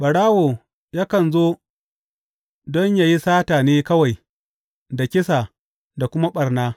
Ɓarawo yakan zo don yă yi sata ne kawai da kisa da kuma ɓarna.